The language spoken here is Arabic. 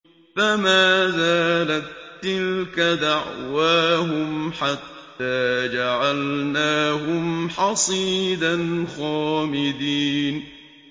فَمَا زَالَت تِّلْكَ دَعْوَاهُمْ حَتَّىٰ جَعَلْنَاهُمْ حَصِيدًا خَامِدِينَ